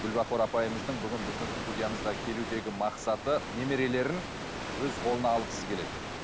гүлбахор апайымыздың бүгін біздің студиямызға келудегі мақсаты немерелерін өз қолына алғысы келеді